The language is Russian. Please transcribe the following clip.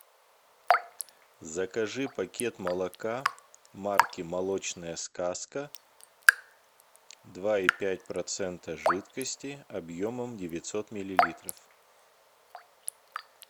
закажи пакет молока марки молочная сказка два и пять процента жидкости объемом девятьсот миллилитров